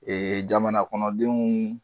Ee jamanakɔnɔdenw